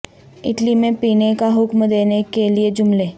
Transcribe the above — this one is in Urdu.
اٹلی میں پینے کا حکم دینے کے لئے جملے